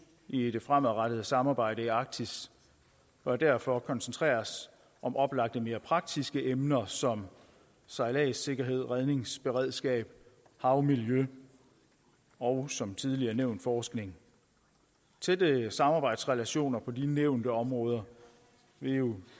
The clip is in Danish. i det fremadrettede samarbejde i arktis bør derfor koncentreres om oplagte og mere praktiske emner som sejlads sikkerhed redningsberedskab havmiljø og som tidligere nævnt forskning tætte samarbejdsrelationer på de nævnte områder vil